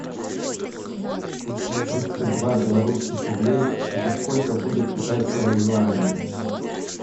тридцать два белорусских рублей это сколько будет китайского юаня